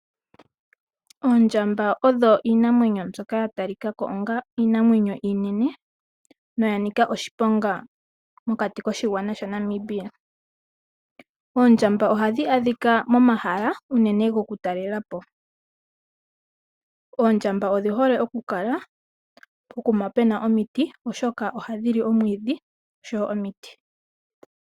Oondjamba odho iinamwenyo ndyoka yatalikako onga iinamwenyo iinene noya nika oshiponga mokati koshigwana shaNamibia. Oondjamba ohadhi adhika momahala unene gokutalela po. Oondjamba odhi hole okukala pokuma puna omiti oshoka ohadhili omwiidhi oshowo omiti.